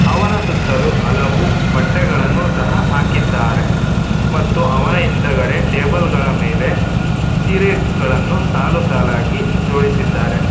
ಅವನ ಸುತ್ತಲೂ ಹಲವು ಬಟ್ಟೆಗಳನ್ನು ಸಹ ಹಾಕಿದ್ದಾರೆ ಮತ್ತು ಅವನ ಹಿಂದಗಡೆ ಟೇಬಲ್ ಗಳ ಮೇಲೆ ಸೀರೆ ಗಳನ್ನು ಸಾಲು ಸಾಲಾಗಿ ಜೋಡಿಸಿದ್ದಾರೆ.